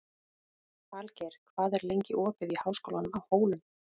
Falgeir, hvað er lengi opið í Háskólanum á Hólum?